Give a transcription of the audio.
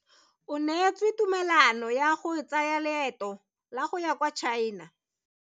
O neetswe tumalano ya go tsaya loeto la go ya kwa China.